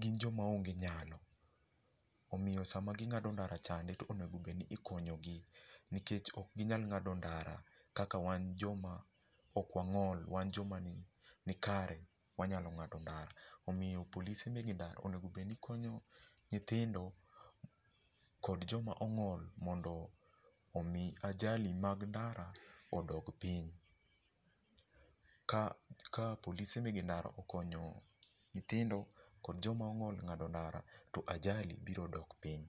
gin joma onge nyalo, omio sama ging'do ndara chande to onego bedni ikonyogi. Nikech okginyal ng'ado ndara kaka wan joma okwang'ol wan joma ni kare wanyalo ng'ado ndara. Omiyo polise mege ndara onego bedni konyo nyithindo kod joma ong'ol mondo mii ajali mag ndara odog piny. Ka ,ka polise mege ndara okonyo nyithindo kod jomong'ol ng'ado ndara to ajali biro dok piny.